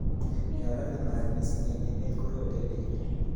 Ya lale mat missing eng emet korote bek